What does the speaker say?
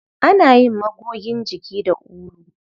Ana yin magogin jiki da ulu.